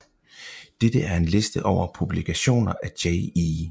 Dette er en liste over publikationer af Jay E